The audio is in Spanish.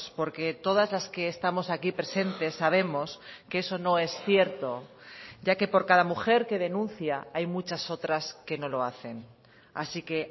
porque todas las que estamos aquí presentes sabemos que eso no es cierto ya que por cada mujer que denuncia hay muchas otras que no lo hacen así que